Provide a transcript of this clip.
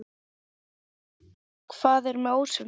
Hvað er með ásum?